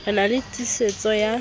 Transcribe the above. ke na le tiisetso ya